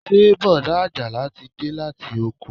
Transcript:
Ṣé bọ̀dá ajala ti de láti oko